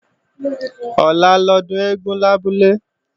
Ọ̀la lọ́dún eégún lábúlé